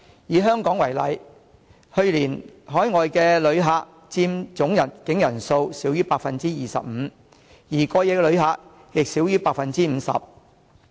以香港為例，去年海外旅客佔總入境人數少於 25%， 而過夜旅客亦少於 50%。